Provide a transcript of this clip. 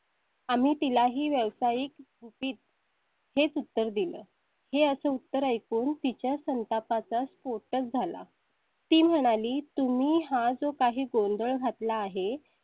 आम्ही तिला ही व्यवसायिक गुपित. हेच उत्तर दिलं आहे असं उत्तर ऐकून तिच्या संतापा चा स्फोट झाला. ती म्हणाली, तुम्ही हा जो काही गोंधळ घात ला आहे